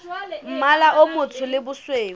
mmala o motsho le bosweu